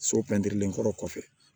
So pɛntirilen kɔrɔ kɔfɛ